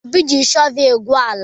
Obi ji shọvel na-egwu ala.